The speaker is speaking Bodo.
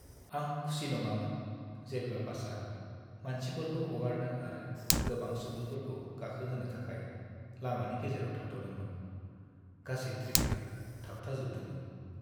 आं खुसि नङामोन जेब्ला बासआ मानसिफोरखौ हगारनो आरो गोबां सुबुंफोरखौ गाखोहोनो थाखाय लामानि गेजेराव थाद'दोंमोन। गासै ट्रेफिका थाबथाजोबदोंमोन।